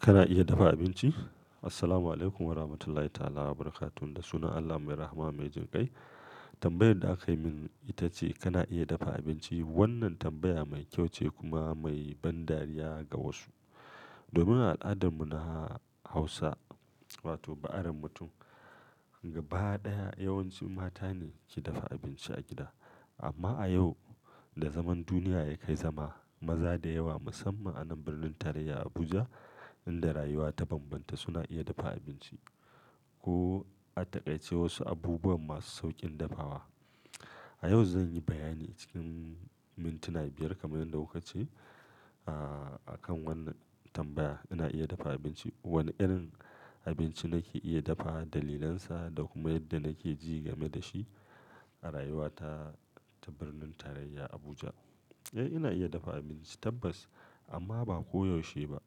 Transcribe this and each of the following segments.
Kana iya dafa abinci? Assalamualaikum warahmatullahi ta'ala wabarakatuh, da sunan Allah mai rahama mai jin kai. Tambayar da aka yi min ita ce kana iya dafa abinci? Wannan tambaya mai kyau ce kuma mai ban dariya ga wasu. Domin a al'adar mu na Hausa wato ba'a ren mutum gaba ɗaya yawanci mata ne ke dafa abinci a gida. Amma a yau da zaman duniya ya kai zama, maza da yawa musamman anan birnin tarayya Abuja inda rayuwa ta banbanta suna iya dafa abinci ko a taƙaice wasu abubuwa masu sauƙin dafawa. A yau zan yi bayani cikin mintuna biyar kamar yadda wuka ce a kan wannan tambaya. Ina iya dafa abinci. Wane irin abinci nake iya dafa dalilansa da kuma yadda nake ji game da shi a rayuwata ta birnin tarayya Abuja. Eh ina iya dafa abinci tabbas amma ba koyaushe ba.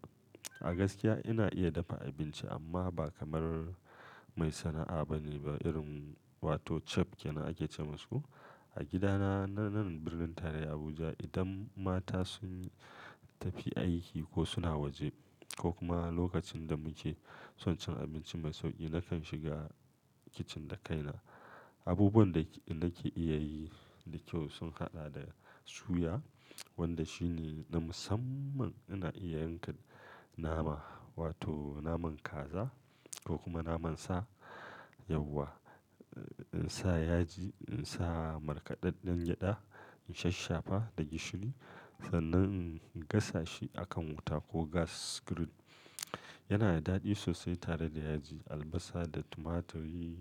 A gaskiya ina iya dafa abinci amma ba kamar mai sana'a bane ba irin wato chef kenan ake ce masu. A gidana na nan birnin tarayya Abuja idan mata sun tafi aiki ko suna waje ko kuma lokacin da muke son cin abinci mai sauƙi nakan shiga kicin da kaina. Abubuwan da nake iya yi da kyau sun haɗa da suya wanda shine na musamman ina iya yanka nama wato naman kaza ko kuma naman sa yauwa, in sa yaji, in sa markaɗaɗɗen gyada, in shaffafa da gishiri sannan in gasa shi akan wuta ko gas grill. Yana da daɗi sosai tare da yaji, albasa da tumaturi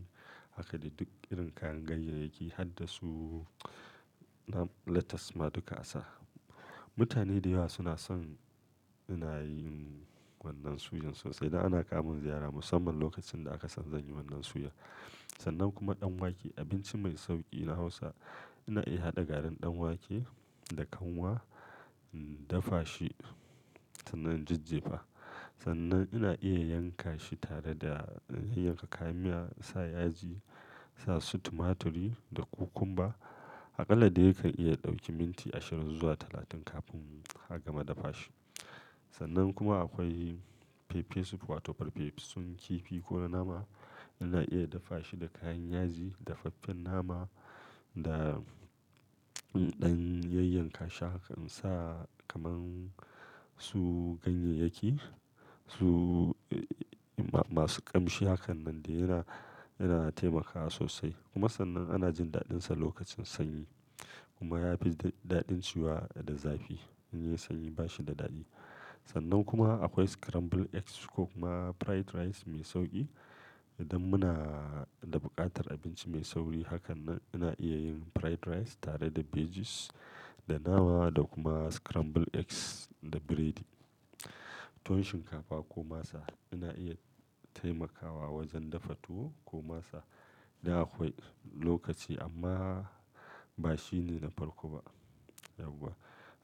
haka da duk irin kayan ganyayyaki har da su lettuce ma duka a sa. Mutane da yawa suna son ina yin wannan suyan sosai. Idan ana ƙamin ziyara musamman lokacin da aka san zan yi wannan suya. Sannan kuma ɗan wake abinci mai sauƙi na Hausa. Ina iya haɗa garin ɗan wake da kanwa, in dafa shi sannan in jijjefa. Sannan ina iya yanka shi tare da in yanka kayan miya, sa yaji, sa su tumaturi da kukumba. Aƙalla dai kai iya ɗauki minti ashirin zuwa talatin kafin ka gama dafa shi. Sannan kuma akwai pepper soup wato farfesun kifi ko nama. Ina iya dafa shi da kayan yaji, dafaffen nama da ɗan yanyanka shakan sa kamar su ganyayyaki su masu ƙamshi hakan nan da yana, yana taimakawa sosai kuma sannan ana jin daɗinsa lokacin sanyi kuma ya fi daɗin ciwa da zafi. In yi sanyi ba shi da daɗi. Sannan kuma akwai scrambled eggs ko kuma fried rice mai sauƙi. Idan muna da buƙatar abinci mai sauri hakan nan ina iya yin fried rice tare da veggies, da nama da kuma scrambled eggs da biredi. Tuwon shinkafa ko masa ina iya taimakawa wajen dafa tuwo ko masa idan akwai lokaci amma ba shine na farko ba yau ba.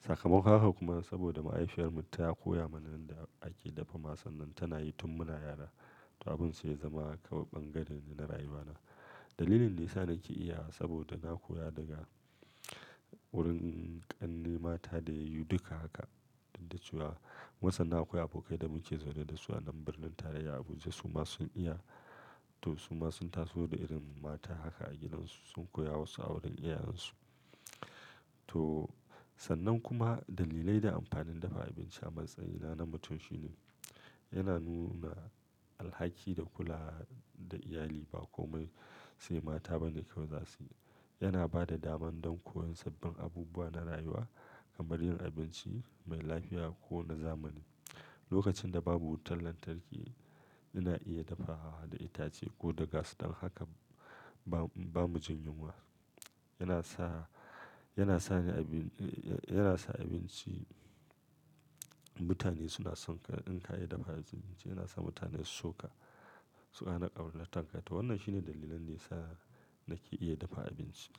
Sakamako haka kuma saboda mahaifiyar mu ta koya mana yanda ake dafa masu nan tana yi tun muna yara to abun sai ya zama ƙaɓaɓgade na rayuwana. Dalilin nesa nake iya saboda na koya daga wurin ƙannena mata da yayi duka haka duk da cewa wasanna akwai abokai da muke zaune da su anan birnin tarayya Abuja su ma sun iya to su ma sun taso da irin mata haka a gidansu sun koya wasu a wurin iyayensu. To sannan kuma dalilai da amfanin dafa abinci a matsayina na mutum shine yana nuna alhaki da kula da iyali ba komai sai mata bane ke zasu. Yana ba da daman don koyon sabbin abubuwa na rayuwa kamar yin abinci mai lafiya ko na zamani. Lokacin da babu wutar lantarki ina iya dafa hawa da itace ko da gas don haka ba, ba mu jin yunwa. Yana sa, yana sa ni abi-- yana sa abinci mutane suna son in ka yi dafa abinci yana sa mutane su shuka suƙa na ƙaura na tankata. Wannan shine dalilan nesa nake iya dafa abinci.